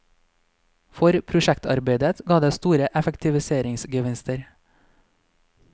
For prosjektarbeidet ga det store effektiviseringsgevinster.